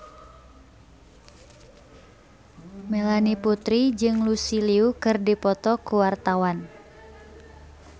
Melanie Putri jeung Lucy Liu keur dipoto ku wartawan